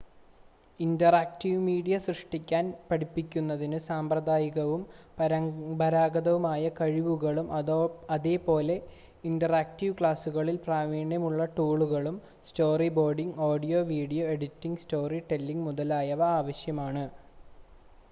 interactive media സൃഷ്‌ടിക്കാൻ പഠിക്കുന്നതിന് സാമ്പ്രദായികവും പരമ്പരാഗതവുമായ കഴിവുകളും അതുപോലെ ഇന്ററാക്റ്റീവ് ക്ലാസുകളിൽ പ്രാവീണ്യമുള്ള ടൂളുകളും storyboarding audio video editing storytelling മുതലായവ ആവശ്യമാണ്